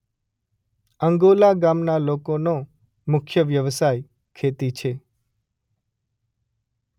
અંગોલા ગામના લોકોનો મુખ્ય વ્યવસાય ખેતી છે.